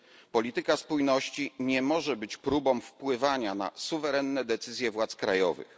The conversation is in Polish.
Polityka spójności nie może być próbą wpływania na suwerenne decyzje władz krajowych.